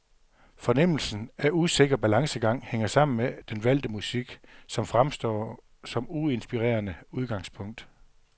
Fornemmelsen af usikker balancegang hænger sammen med den valgte musik, som fremstår som uinspirerende udgangspunkt.